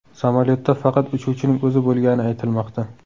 Samolyotda faqat uchuvchining o‘zi bo‘lgani aytilmoqda.